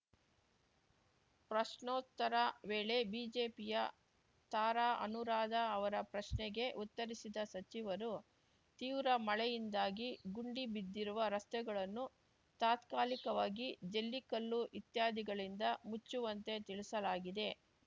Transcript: ಪ್ರಶ್ನೋತ್ತರ ವೇಳೆ ಬಿಜೆಪಿಯ ತಾರಾ ಅನುರಾಧ ಅವರ ಪ್ರಶ್ನೆಗೆ ಉತ್ತರಿಸಿದ ಸಚಿವರು ತೀವ್ರ ಮಳೆಯಿಂದಾಗಿ ಗುಂಡಿ ಬಿದ್ದಿರುವ ರಸ್ತೆಗಳನ್ನು ತಾತ್ಕಾಲಿಕವಾಗಿ ಜಲ್ಲಿ ಕಲ್ಲು ಇತ್ಯಾದಿಗಳಿಂದ ಮುಚ್ಚುವಂತೆ ತಿಳಿಸಲಾಗಿದೆ